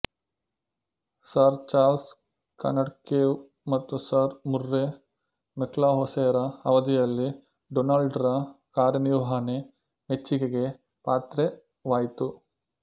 sir Charles ಕಾಡನ್ಕೇವ್ ಮತ್ತು Sir Murray ಮೆಕ್ಲಹೋಸೆರ ಅವಧಿಯಲ್ಲಿ ಡೊನಾಲ್ಡ್ ರ ಕಾರ್ಯನಿರ್ವಹಣೆ ಮೆಚ್ಚಿಗೆಗೆ ಪಾತ್ರವಾಯಿತು